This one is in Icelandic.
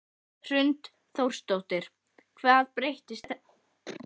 Hrund Þórsdóttir: Hvað breyttist?